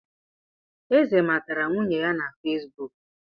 Eze matara nwunye ya na Fesibuk